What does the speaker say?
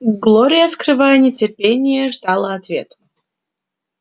глория скрывая нетерпение ждала ответ